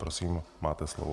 Prosím, máte slovo.